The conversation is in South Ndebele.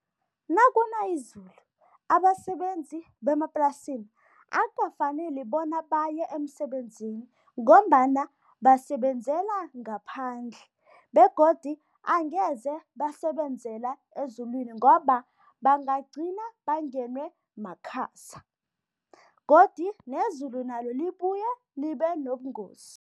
Nakuna izulu, abasebenzi bemaplasini akukafaneli bona baye emsebenzini ngombana basebenzela ngaphandle begodi angeze basebenzela ezulwini ngoba bangagcina bangenwe makhaza godi nezulu nalo libuye libe nobungozi.